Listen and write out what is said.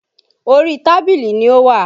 Orí tábìlì ni ó wà